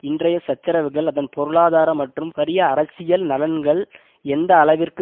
இன்றைய சச்சரவுகள் அதன் பொருளாதார மற்றும் பரிய அரசியல் நலன்கள் எந்த அளவிற்கு